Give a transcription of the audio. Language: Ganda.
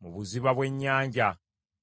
mu buziba bw’ennyanja;